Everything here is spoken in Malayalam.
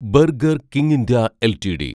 burger King India LTD